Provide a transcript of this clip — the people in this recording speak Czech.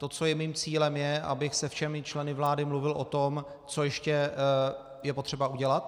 To, co je mým cílem, je, abych se všemi členy vlády mluvil o tom, co ještě je potřeba udělat.